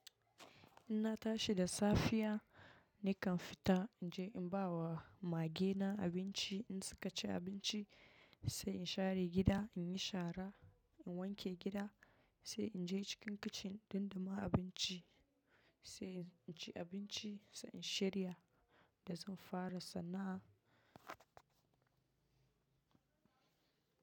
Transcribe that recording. In na tashi da safiya, nakan fita in je in ba wa mage na abinci in suka ci abinci, sai in share gida, in yi shara, in wanke gida, sai in je cikin kicin don duma abinci, sai in ci abinci, sai in shirya da zan fara sana'a.